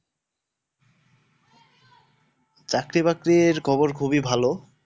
চাকরি বাকরি খবর খুবই ভালও।